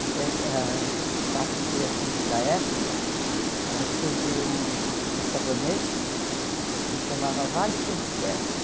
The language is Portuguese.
Até ah um fato interessante da época, ah surgiu um sabonete que chamava Vale Quanto Pesa.